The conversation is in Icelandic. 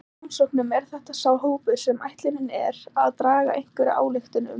Í rannsóknum er þetta sá hópur sem ætlunin er að draga einhverja ályktun um.